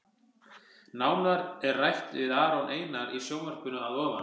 Nánar er rætt við Aron Einar í sjónvarpinu að ofan.